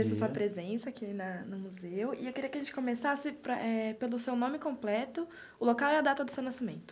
Agradeço a sua presença aqui na no Museu e eu queria que a gente começasse pelo seu nome completo, o local e a data do seu nascimento.